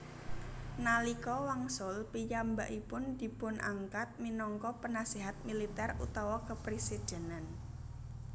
Nalika wangsul piyambakipun dipunangklat minangka penasihat militer utama kepresidenan